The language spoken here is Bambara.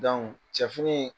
cɛ fini.